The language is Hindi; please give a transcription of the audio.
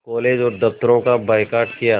कॉलेज व दफ़्तरों का बायकॉट किया